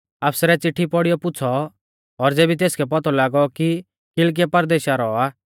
आफसरै चिट्ठी पौड़ीयौ पुछ़ौ एऊ केज़ै परदेशा रौ आ